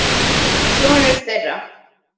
Sonur þeirra.